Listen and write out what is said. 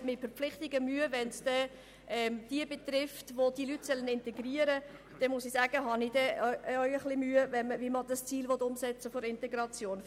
Wenn man nun sagt, man habe mit Verpflichtungen Mühe, die diejenigen betreffen, die diese Leute integrieren sollen, dann frage ich mich, wie man das Ziel der Integration umsetzen soll.